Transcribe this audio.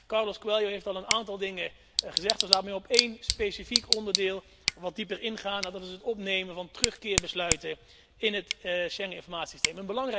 Carlos Coelho heeft al een aantal dingen gezegd, dus laat mij op één specifiek onderdeel wat dieper ingaan en dat is het opnemen van terugkeerbesluiten in het Schengeninformatiesysteem.